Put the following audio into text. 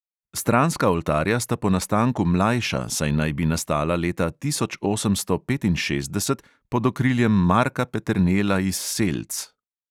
Stranska oltarja sta po nastanku mlajša, saj naj bi nastala leta tisoč osemsto petinšestdeset pod okriljem marka peternela iz selc.